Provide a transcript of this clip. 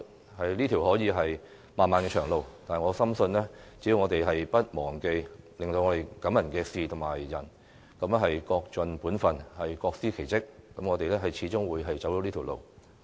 這可能是一條漫漫長路，但我深信只要我們不忘記令我們感動的人和事，各盡本分，各司其職，我們始終會走對的路。